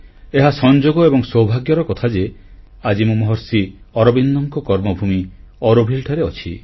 ଏହା ସଂଯୋଗ ଏବଂ ସୌଭାଗ୍ୟର କଥା ଯେ ଆଜି ମୁଁ ମହର୍ଷି ଅରବିନ୍ଦଙ୍କ କର୍ମଭୂମି ଅରୋଭିଲେ ଠାରେ ଅଛି